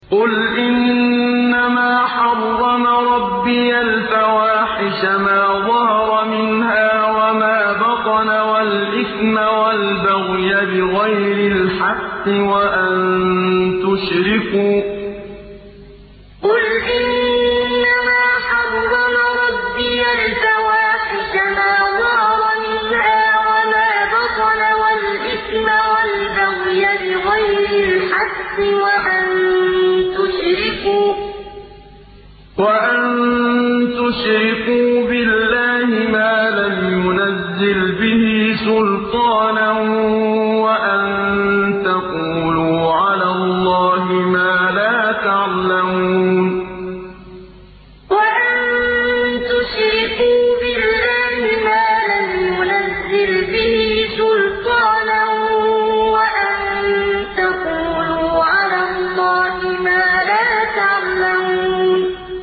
قُلْ إِنَّمَا حَرَّمَ رَبِّيَ الْفَوَاحِشَ مَا ظَهَرَ مِنْهَا وَمَا بَطَنَ وَالْإِثْمَ وَالْبَغْيَ بِغَيْرِ الْحَقِّ وَأَن تُشْرِكُوا بِاللَّهِ مَا لَمْ يُنَزِّلْ بِهِ سُلْطَانًا وَأَن تَقُولُوا عَلَى اللَّهِ مَا لَا تَعْلَمُونَ قُلْ إِنَّمَا حَرَّمَ رَبِّيَ الْفَوَاحِشَ مَا ظَهَرَ مِنْهَا وَمَا بَطَنَ وَالْإِثْمَ وَالْبَغْيَ بِغَيْرِ الْحَقِّ وَأَن تُشْرِكُوا بِاللَّهِ مَا لَمْ يُنَزِّلْ بِهِ سُلْطَانًا وَأَن تَقُولُوا عَلَى اللَّهِ مَا لَا تَعْلَمُونَ